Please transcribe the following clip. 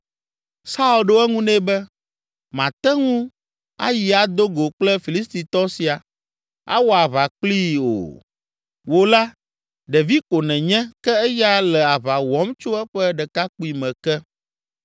Saul ɖo eŋu nɛ be, “Màte ŋu ayi ado go kple Filistitɔ sia, awɔ aʋa kplii o. Wò la ɖevi ko nènye ke eya le aʋa wɔm tso eƒe ɖekakpuime ke.”